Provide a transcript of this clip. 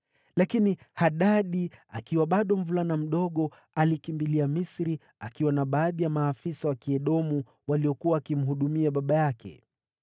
Lakini Hadadi, akiwa bado mvulana mdogo, alikimbilia Misri akiwa na baadhi ya maafisa wa Kiedomu waliokuwa wakimhudumia baba yake.